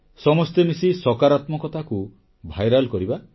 ସମସ୍ତେ ମିଶି ସକାରାତ୍ମକ ଭାବନାକୁ ସଂକ୍ରମିତ ଭାଇରାଲ୍ କରିବା